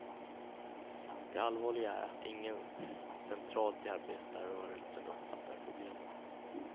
Det allvarliga är att ingen centralt i arbetarrörelsen uppfattar problemen.